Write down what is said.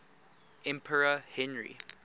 emperor henry